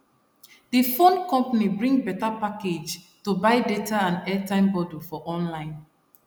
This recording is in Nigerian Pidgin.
the phone company bring better package to buy data and airtime bundle for online